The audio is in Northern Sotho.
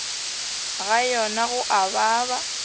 ga yona go a baba